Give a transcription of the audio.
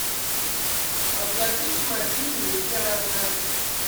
оплатить мобильный яна